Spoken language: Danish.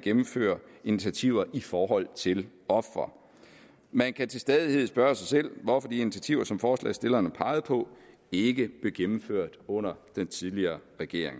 gennemføre initiativer i forhold til ofre man kan til stadighed spørge sig selv hvorfor de initiativer som forslagsstillerne pegede på ikke blev gennemført under den tidligere regering